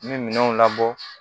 N bɛ minɛnw labɔ